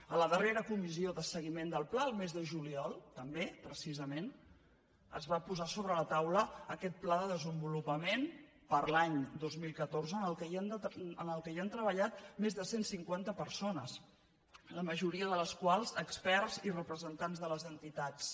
a la darrera comissió de seguiment del pla el mes de juliol tam·bé precisament es va posar sobre la taula aquest pla de desenvolupament per a l’any dos mil catorze en què han tre·ballat més de cent cinquanta persones la majoria de les quals experts i representants de les entitats